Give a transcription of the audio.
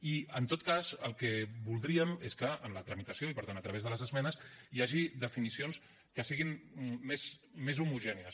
i en tot cas el que voldríem és que en la tramitació i per tant a través de les esmenes hi hagi definicions que siguin més homogènies